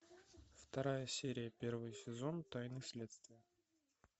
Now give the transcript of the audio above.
вторая серия первый сезон тайны следствия